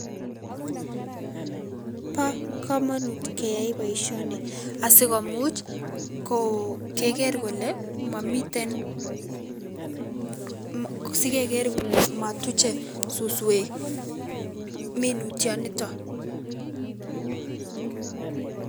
Bo komonut keyai boisioni asikomuch ko keker kole momiten sikeker kole motuche suswek minutioniton.